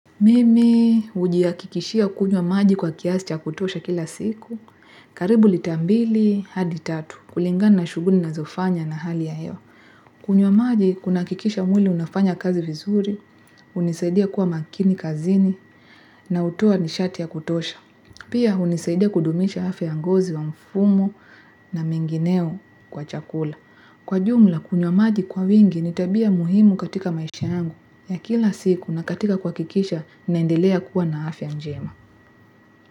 Mimi, ujihakikishia kunywa maji kwa kiasi cha kutosha kila siku. Karibu lita mbili, hadi tatu. Kulingana na shuguli ninazofanya na hali ya hewa. Kunywa maji, kunakikisha mwili unafanya kazi vizuri, hunisaidia kuwa makini, kazini, na utoa nishati ya kutosha. Pia, hunisaidia kudumisha afyaf yngozi wa mfumo na mengineo kwa chakula. Kwa jumla, kunywa maji kwa wingi, ni tabia muhimu katika maisha angu. Ya kila siku na katika kuhakikisha, nendelea kuwa na afya njema.